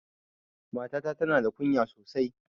Mata ta tana da ƙunya sosai.